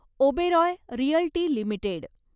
Oberoi realty limited